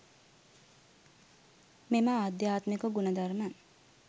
මෙම ආධ්‍යාත්මික ගුණ ධර්ම